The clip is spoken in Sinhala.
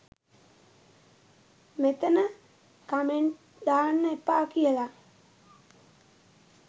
මෙතන කමෙන්ට් දාන්න එපා කියලා